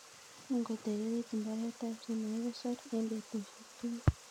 Ingotililit mbaretab chemokikosor en betusiek tugul.